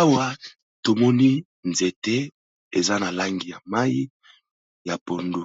Awa tomoni nzete eza na langi ya mayi ya pondu,